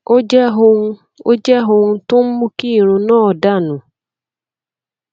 ó jẹ ohun tó jẹ ohun tó ń mú kí irun náà dà nù